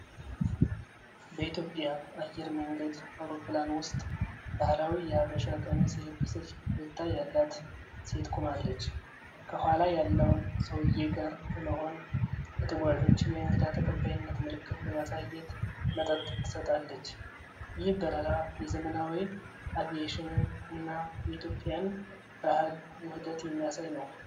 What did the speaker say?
በኢትዮጵያ አየር መንገድ አውሮፕላን ውስጥ፣ ባህላዊ የሐበሻ ቀሚስ የለበሰች ፈገግታ ያላት ሴት ቆማለች። ከኋላ ያለውን ሰውዬ ጋር በመሆን፣ ለተጓዦች የእንግዳ ተቀባይነት ምልክት በማሳየት መጠጥ ትሰጣለች። ይህ በረራ የዘመናዊ አቪዬሽንን እና የኢትዮጵያን ባህል ውህደት የሚያሳይ ነው።